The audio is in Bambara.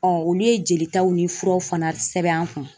olu ye jelitaw ni furaw fana sɛbɛn an kun.